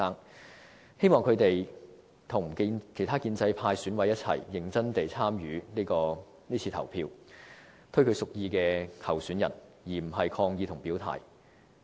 他們希望和其他建制派選委一同認真地參與是次投票，推舉他們屬意的候選人，而不是抗議和表態。